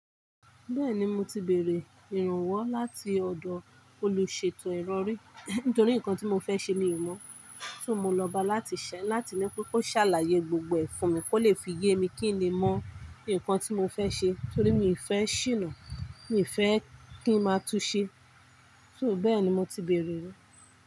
Bẹ́ẹ̀ni mo ti bèèrè ìrànwọ́ láti ọ̀dọ̀ olùṣètò ìrọ̀rí, nítorí nǹkan tí mo fẹ́ ṣe mi ò mọ̀, ṣó mo lọba láti ṣẹ́ láti ní kó ṣàlàyé gbogbo ẹ̀ fún mi kó lè fi ye mi kí n lè mọ̀ nǹkan tí mo fẹ́ ṣe torí mi ò fẹ́ ṣìnà, mi ò fẹ́ kí ń máa túṣe. Ṣó bẹ́ẹ̀ni mo ti bèèrè rí.